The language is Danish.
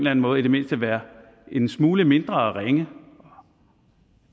anden måde i det mindste være en smule mindre ringe